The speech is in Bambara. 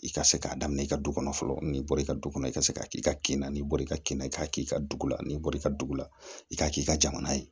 I ka se k'a daminɛ i ka du kɔnɔ fɔlɔ nin bɔr'i ka du kɔnɔ i ka se k'a k'i ka kin na ni bɔr'i ka kin i k'a k'i ka dugu la n'i bɔr'i ka dugu la i k'a k'i ka jamana ye